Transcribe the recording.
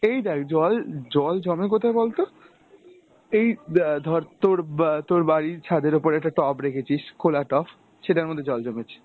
এই দেখ জল জল জমে কোথায় বলতো? এই অ্যাঁ ধর তোর বাঁ~ তোর বাড়ির ছাদের উপর একটা টব রেখেছিস খোলা টব, সেটার মধ্যে জল জমেছে